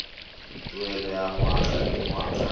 tuelo ya ngwaga le ngwaga